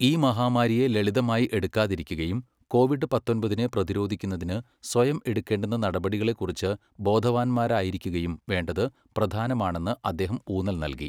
ഈ മഹാമാരിയെ ലളിതമായി എടുക്കാതിരിക്കുകയും കോവിഡ് പത്തൊമ്പതിനെ പ്രതിരോധിക്കുന്നതിന് സ്വയം എടുക്കേണ്ടുന്ന നടപടികളെക്കുറിച്ച് ബോധവാന്മാരായിരിക്കുകയും വേണ്ടത് പ്രധാനമാണെന്ന് അദ്ദേഹം ഊന്നൽ നല്കി.